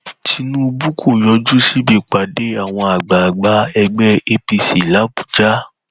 tinubu kò yọjú síbi ìpàdé àwọn àgbààgbà ẹgbẹ apc làbújá